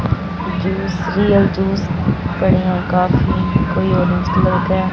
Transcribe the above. juice real juice बढ़िया coffee कोई orange colour का--